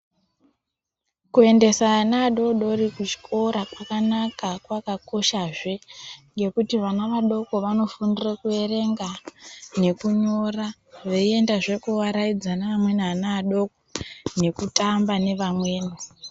Kuendesa ana adodori kuchikora kwakanaka kwakakoshazve ngekuti ana adoko anofundira kuerenga nekunyora veiendazve kooaraidza neamweni ana adoko nekutamba nevamweni